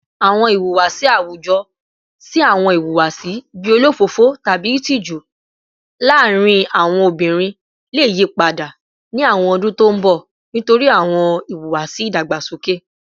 Awọn ihuwasi awujọ si awọn ihuwasi bii olofofo tabi itiju laarin awọn obinrin le yipada ni awọn ọdun to n bọ nitori awọn iwuwasi idagbasoke